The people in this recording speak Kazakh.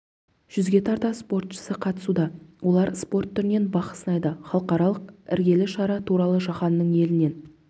жүзге тарта спортшысы қатысуда олар спорт түрінен бақ сынайды халықаралық іргелі шара туралы жаһанның елінен